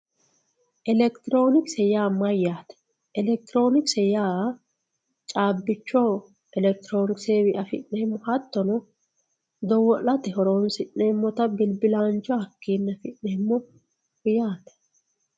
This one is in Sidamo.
elekitiroonikse yaa mayaate elekitiroonikse yaa caabbicho elekitironiksewi afi'neemo hattono dowwo'late horonsi'neemota bilbilaanch hakiini afi'neemo yaate.